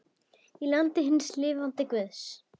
Í landi hins lifanda guðs.